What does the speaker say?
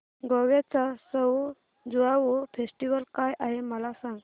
गोव्याचा सउ ज्युआउ फेस्टिवल काय आहे मला सांग